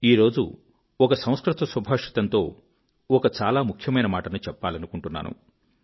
ఈరోజు ఒక సంస్కృత సుభాషితంతో ఒక చాలా ముఖ్యమైన మాటను చెప్పాలనుకుంటున్నాను